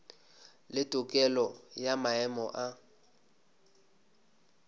le tokelo ya maemo a